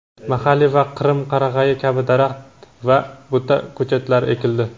mahalliy va qrim qarag‘ayi kabi daraxt va buta ko‘chatlari ekildi.